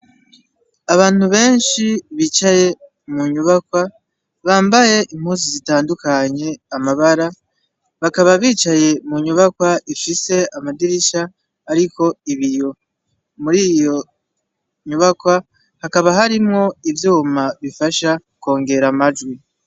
Abantu benshi bicaye mu nyubakwa bambaye impusi zitandukanye amabara bakaba bicaye mu nyubakwa ifise amadirisha, ariko ibiyo muri iyo nyubakwa hakaba harimwo ivyuma bifasha kwongera amajwi.